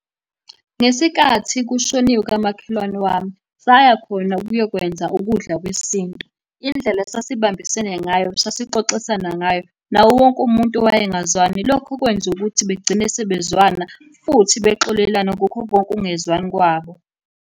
Ngesikathi kushoniwe kamakhelwane wami, saya khona ukuyokwenza ukudla kwesintu. Indlela esasibambisene ngayo, sasixoxisana ngayo, nawo wonke umuntu owayengazwani. Lokho kwenza ukuthi begcine sebezwana, futhi bexolelana kukho konke ukungezwani kwabo.